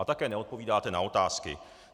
A také neodpovídáte na otázky.